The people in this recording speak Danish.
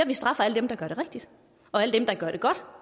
vi straffer alle dem der gør det rigtigt og alle dem der gør det godt